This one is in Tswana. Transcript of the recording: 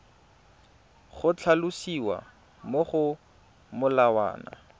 go tlhalosiwa mo go molawana